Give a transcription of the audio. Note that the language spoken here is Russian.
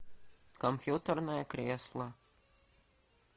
компьютерное кресло